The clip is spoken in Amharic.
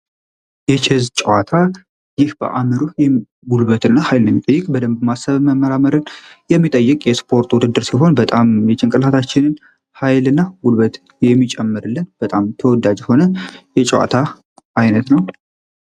የቼዝ ጨዋታ ይህ ጨዋታ በደንብ ማሰብ እና መመራ መርህን የሚጠይቅ ስፖርታዊ ጨዋታ ውድድር ሲሆን በጣም የጭንቅላታችን ኃይል እና ጉልበት የሚጨምርልን በጣም ተወዳጅ የሆነ የጨዋታ አይነት ነው።